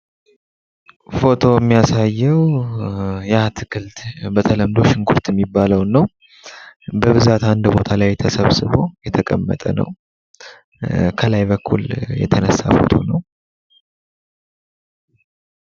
ፎቶው የሚያሳየው የአትክልት በተለምዶ ሽንኩርት የሚባለውን ነው። በብዛት አንድ ቦታ ተሰብስቦ የቀመጠ ነው። ከላይ በኩል የተነሳ ነው።